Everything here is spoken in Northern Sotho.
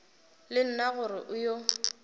le nna gore o yo